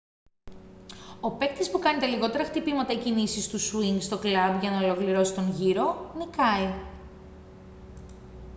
ο παίκτης που κάνει τα λιγότερα χτυπήματα ή κινήσεις του σουίνγκ στο κλαμπ για να ολοκληρώσει τον γύρο νικάει